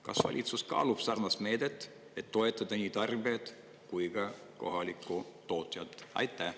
Kas valitsus kaalub sarnast meedet, et toetada nii tarbijaid kui ka kohalikku tootjat?